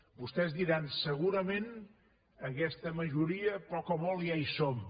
vostès diran segurament en aquesta majoria poc o molt ja hi som